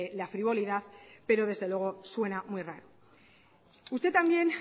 la frivolidad pero desde luego suena muy raro usted también